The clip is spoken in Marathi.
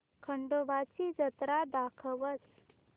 खंडोबा ची जत्रा दाखवच